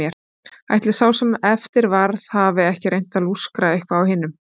Ætli sá sem eftir varð hafi ekki reynt að lúskra eitthvað á hinum.